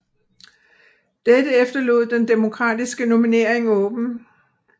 Dette efterlod den demokratiske nominering åben